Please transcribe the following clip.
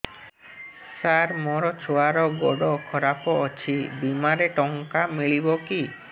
ସାର ମୋର ଛୁଆର ଗୋଡ ଖରାପ ଅଛି ବିମାରେ ଟଙ୍କା ମିଳିବ କି